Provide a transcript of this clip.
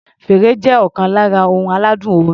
Fèrè jẹ́ ọ̀kan lára ohun aládùn orin.